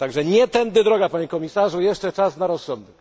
Nie tędy droga, panie komisarzu, jest jeszcze czas na rozsądek.